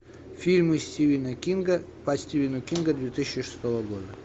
фильмы стивена кинга по стивену кингу две тысячи шестого года